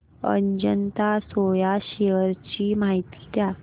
Ajanta Soya shares ची माहिती द्या